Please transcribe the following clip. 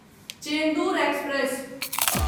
Chendur express